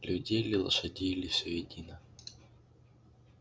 людей ли лошадей ли всё едино